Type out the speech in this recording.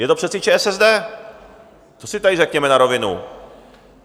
Je to přece ČSSD, to si tady řekněme na rovinu.